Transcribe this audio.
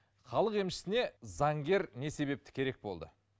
халық емшісіне заңгер не себепті керек болды